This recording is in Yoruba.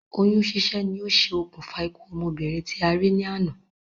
Oyún sísẹ́ ni o ṣe òkùnfà ikú ọmọbìnrin tí a rí ní àná